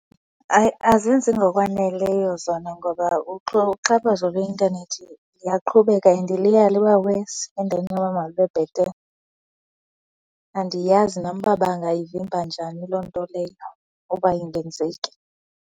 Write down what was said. Hayi, azenzi ngokwaneleyo zona ngoba uxhaphazo lweintanethi liyaqhubeka and liya liba wesi endaweni yoba malube bethele. Andiyazi nam uba bangayivimba njani loo nto leyo uba ingenzeki.